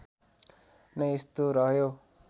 नै यस्तो रह्यो